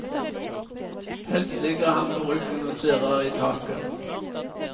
Helst ligger han på ryggen og stirrer i taket.